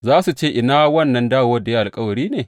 Za su ce, Ina wannan dawowar’ da ya yi alkawari ne?